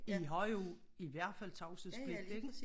I har jo i hvert fald tavshedspligt ikke?